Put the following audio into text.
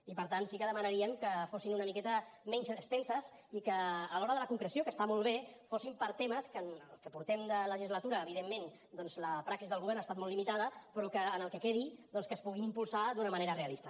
i per tant sí que demanaríem que fossin una miqueta menys extenses i que a l’hora de la concreció que està molt bé fossin per a temes que en el que portem de legislatura evidentment la praxi del govern ha estat molt limitada però que en el que quedi doncs es puguin impulsar d’una manera realista